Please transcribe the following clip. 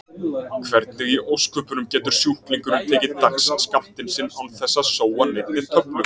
Hvernig í ósköpunum getur sjúklingurinn tekið dagsskammtinn sinn án þess að sóa neinni töflu?